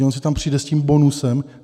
Že on si tam přijde s tím bonusem?